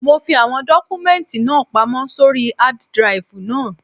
Mo fi àwọn dọ́kúmẹ́ǹtì náà pamọ́ sóri hád draìfù náà.